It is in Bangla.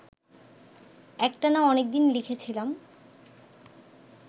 একটানা অনেক দিন লিখেছিলাম